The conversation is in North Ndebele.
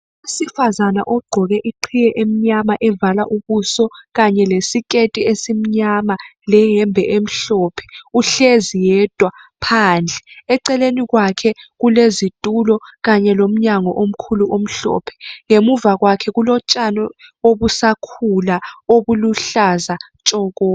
Umuntu wesifazana ogqoke iqhiye emnyama evala ubuso kanye lesiketi esimnyama uhlezi phandle eceleni kwakhe kulezitulo kanye lomnyango omkhulu omhlophe. Ngemuva kwakhe kulotshani obusakhula obuhlaza tshoko.